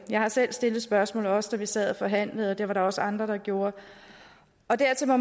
jeg har selv stillet spørgsmål også da vi sad og forhandlede og det var der også andre der gjorde og dertil må